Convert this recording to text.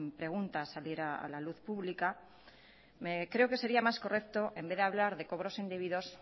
pregunta al salir a la luz pública creo que sería más correcto en vez de hablar cobros indebidos